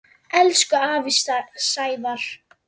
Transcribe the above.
Elsku afi Sævar.